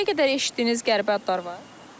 İndiyə qədər eşitdiyiniz qəribə adlar var?